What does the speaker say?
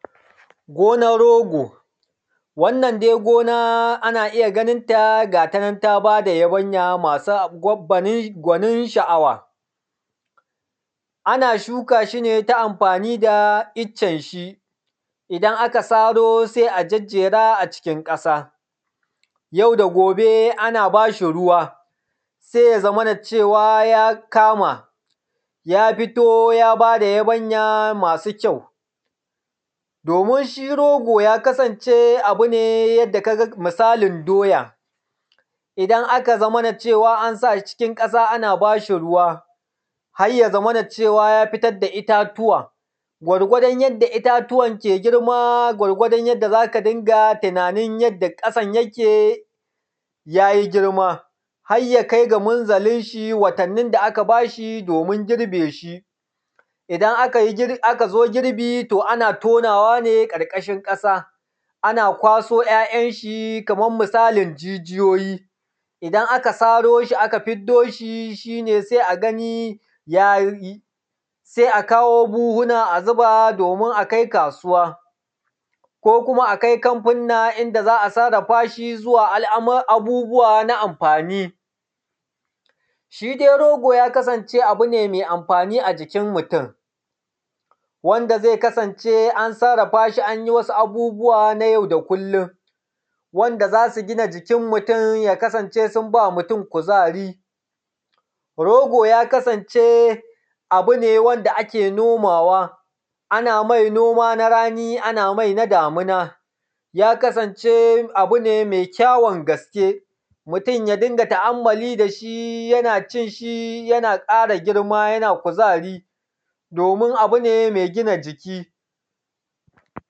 Gonar rogo wannan gona dai ana iya ganin ta gata nan ta ba da yabanya masu anguwan gunin ban sha’awa, ana shuka shi ne ta anfani da iccen shi idan aka saro sai a jajjera a cikin ƙasa yau da gobe ana ba shi ruwa sai ya zamana cewa ya kama ya fito ya ba da yabanya masu kyau, domin shi rogo ya kasance abu ne yadda ka ga misalin doya idan aka zamana cewa an sa cikin ƙasa, ana ba shi ruwa har ya zamana cewa ya fitar da itatuwa gwargwadon yadda itatuwan ke girma. Gwargwadon yadda za ka riƙa tunanin yadda kasan yake ya yi girma har ya kai ga munzalin shi watannin da aka ba shi domin girbe shi, idan aka zo girbi to ana tonawa ne ƙarƙashin ƙasa, ana kwaso ‘ya’yan shi kaman misalin jijiyoyi, idan aka saro shi aka fiddo shi, shi ne sai a gani ya yi sai a kawo buhuna a zuba domin a kai kasuwa ko kuma akai kamfuna inda za a sarrafa shi zuwa abubbuwa na amfani. Shi dai rogo ya kasance abu ne mai amfani a jikin mutun wanda zai kasance an sarrafa shi, an yi wasu abubbuwa na yau da kullun wanda za su gina jikin mutun, ya kasance sun ba mutun kuzari. Rogo ya kasance abu ne wanda ake noma wa ana mai noma na rani ana mai na damina, ya kasance abu ne mai kyawun gaske mutun ya dinga taammuli da shi, yana cin shi, yana ƙara girma, yana kuzari domin abu ne me gina jiki.